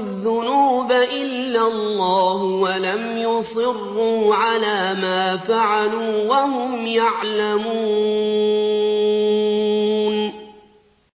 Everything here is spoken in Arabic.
الذُّنُوبَ إِلَّا اللَّهُ وَلَمْ يُصِرُّوا عَلَىٰ مَا فَعَلُوا وَهُمْ يَعْلَمُونَ